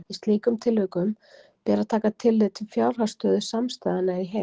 Í slíkum tilvikum ber að taka tillit til fjárhagsstöðu samstæðunnar í heild.